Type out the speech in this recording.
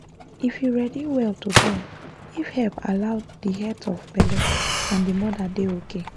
if you ready well to born if help allow the health of belle and the moda dey okay